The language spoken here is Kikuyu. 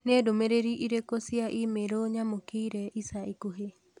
Nĩ ndũmĩrĩri irĩkũ cia i-mīrū nyamũkĩire ica ikuhĩ?